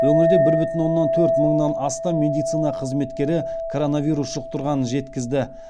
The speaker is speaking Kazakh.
өңірдебір бүтін оннан төрт мыңнан астам медицина қызметкері коронавирус жұқтырғанын жеткізді